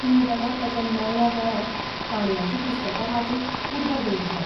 तुवें ताका ताच्या मेकळ्या वेळांत काणयांचीं पुस्तकां वाचूंक उर्बा दिवंक जाय.